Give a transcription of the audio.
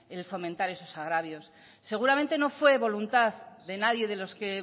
en el fomentar esos agravios seguramente no fue voluntad de nadie de los que